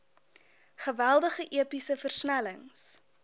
geweldige epiese versnellings